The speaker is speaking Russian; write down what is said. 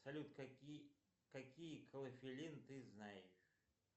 салют какие какие клофелин ты знаешь